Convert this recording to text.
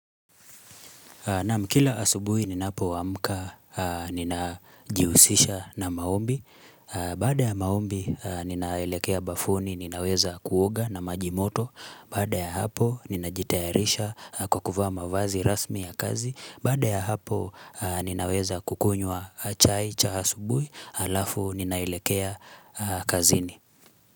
Naam kila asubuhi ninapoamka ninajihusisha na maombi, baada ya maombi ninaelekea bafuni ninaweza kuoga na majimoto, baada ya hapo ninajitayarisha kwa kuvaa mavazi rasmi ya kazi, baada ya hapo ninaweza kukunywa chai cha asubuhi alafu ninaelekea kazini.